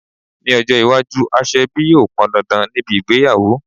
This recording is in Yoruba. Ní ọjọ́ iwájú aṣọ ebi yóò pọn dandan níbi ìgbéyàwó